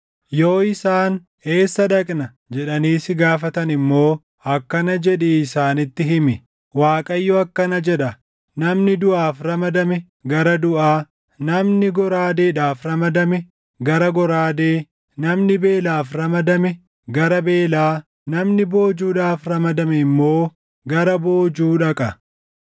Yoo isaan, ‘Eessa dhaqna?’ jedhanii si gaafatan immoo akkana jedhii isaanitti himi; ‘ Waaqayyo akkana jedha: “ ‘Namni duʼaaf ramadame gara duʼaa, namni goraadeedhaaf ramadame gara goraadee, namni beelaaf ramadame gara beelaa, namni boojuudhaaf ramadame immoo gara boojuu dhaqa.’